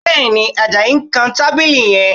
Bẹ́ẹ̀ni, Àjàyí ń kan tábìlì yẹn